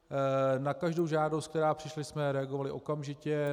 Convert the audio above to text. Na každou žádost, která přišla, jsme reagovali okamžitě.